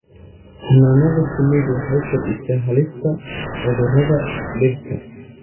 Xannaanada shinnidu waxay kordhisaa halista cudurada dhirta.